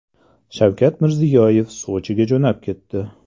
Shavkat Mirziyoyev Sochiga jo‘nab ketdi.